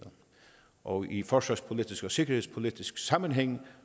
og i forsvarspolitisk og sikkerhedspolitisk sammenhæng